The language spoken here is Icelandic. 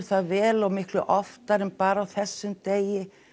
það vel og miklu oftar en bara á þessum degi